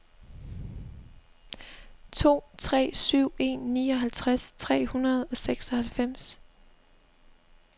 to tre syv en nioghalvtreds tre hundrede og seksoghalvfems